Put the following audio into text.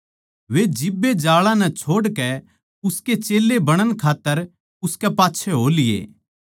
वे जिब्बे जाळां नै छोड़कै उसके चेल्लें बणण खात्तर उसकै पाच्छै हो लिये